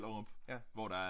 Ja